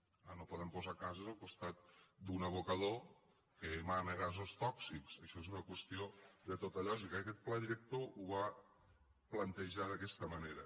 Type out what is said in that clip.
clar no poden posar cases al costat d’un abocador que emana gasos tòxics això és una qüestió de tota lògica i aquest pla director ho va plantejar d’aquesta manera